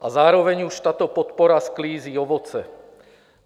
A zároveň už tato podpora sklízí ovoce.